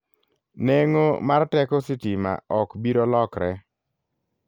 Neng'o mar teko sitima ok biro lokre.